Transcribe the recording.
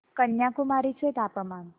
कन्याकुमारी चे तापमान